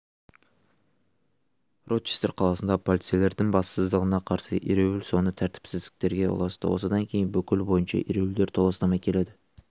рочестер қаласында полицейлердің бассыздығына қарсы ереуіл соңы тәртіпсіздіктерге ұласты осыдан кейін бүкіл бойынша ереуілдер толастамай келеді